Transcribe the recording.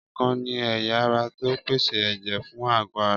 Ọkàn ni ẹ̀yà ara tó ń pèsè ẹ̀jẹ̀ fún àgọ́ ara